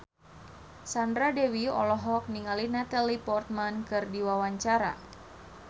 Sandra Dewi olohok ningali Natalie Portman keur diwawancara